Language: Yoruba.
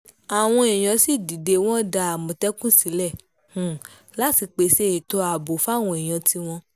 àwọn èèyàn yìí sì dídé wọn dá àmọ̀tẹ́kùn sílẹ̀ láti pèsè ètò ààbò fáwọn èèyàn tiwọn